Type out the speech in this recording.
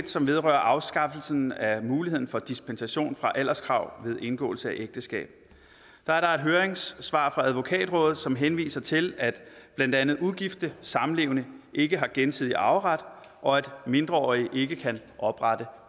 som vedrører afskaffelsen af muligheden for dispensation fra alderskrav ved indgåelse af ægteskab er der et høringssvar fra advokatrådet som henviser til at blandt andet ugifte samlevende ikke har gensidig arveret og at mindreårige ikke kan oprette